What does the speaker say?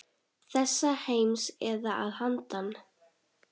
Þessa heims eða að handan.